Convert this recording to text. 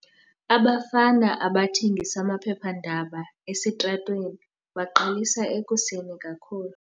Abafana abathengisa amaphephandaba esitratweni baqalisa ekuseni kakhulu.